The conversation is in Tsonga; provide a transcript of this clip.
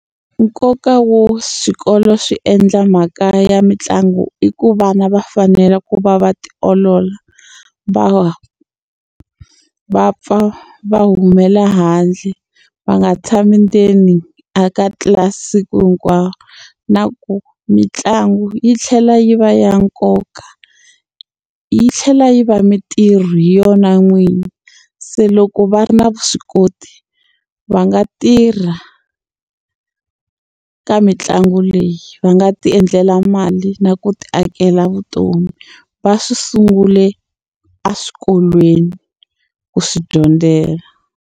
Nkoka wo swikolo swi endla mhaka ya mitlangu i ku vana va fanela ku va va tiolola va va va pfa va humela handle va nga tshami ndzeni a ka siku hinkwaro na ku mitlangu yi tlhela yi va ya nkoka yi tlhela yi va mintirho hi yona n'wini se loko va ri na vuswikoti va nga tirha ka mitlangu leyi va nga ti endlela mali na ku ti akela vutomi va swi sungule eswikolweni ku swi dyondzela.